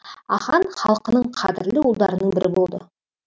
ахаң халқының қадірлі ұлдарының бірі болды